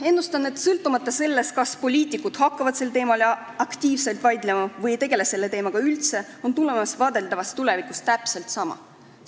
Ennustan, et sõltumata sellest, kas poliitikud hakkavad sel teemal aktiivselt vaidlema või ei tegele selle teemaga üldse, on tulemus vaadeldavas tulevikus täpselt sama.